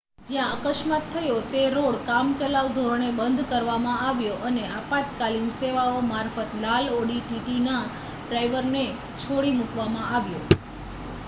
જ્યાં અકસ્માત થયો તે રોડ કામચલાઉ ધોરણે બંધ કરવામાં આવ્યો અને આપાતકાલીન સેવાઓ મારફત લાલ ઑડી ટીટીના ડ્રાઇવરને છોડી મૂકવામાં આવ્યો